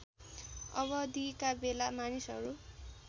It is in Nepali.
अवधिका बेला मानिसहरू